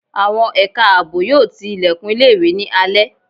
Àwọn ẹ̀ka àbò yóò tí ìlẹ̀kùn ilé ìwé ní alẹ́